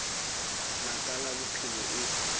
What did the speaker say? la ka la bophelo e